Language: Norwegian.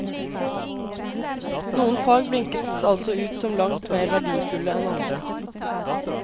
Noen fag blinkes altså ut som langt mer verdifulle enn andre.